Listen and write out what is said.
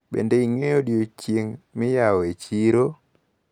Bende ing`eyo odiochieng` miyawo e chiro?